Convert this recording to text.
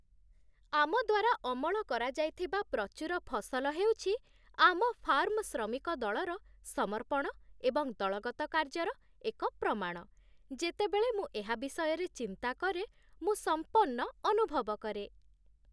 ଆମ ଦ୍ୱାରା ଅମଳ କରାଯାଇଥିବା ପ୍ରଚୁର ଫସଲ ହେଉଛି ଆମ ଫାର୍ମ ଶ୍ରମିକ ଦଳର ସମର୍ପଣ ଏବଂ ଦଳଗତ କାର୍ଯ୍ୟର ଏକ ପ୍ରମାଣ। ଯେତେବେଳେ ମୁଁ ଏହା ବିଷୟରେ ଚିନ୍ତା କରେ, ମୁଁ ସମ୍ପନ୍ନ ଅନୁଭବ କରେ